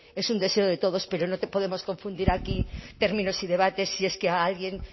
es un deseo de todos pero no podemos confundir aquí términos y debates si es que a alguien